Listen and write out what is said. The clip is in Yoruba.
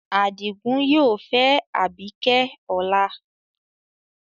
Adigun yoo fẹ Abike ọla